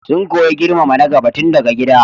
Sun koyi girmama na gaba tun daga gida.